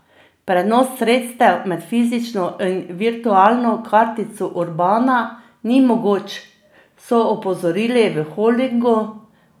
Prenos sredstev med fizično in virtualno kartico Urbana ni mogoč, so opozorili v holdingu.